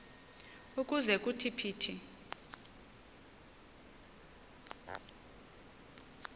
ukuze kuthi phithi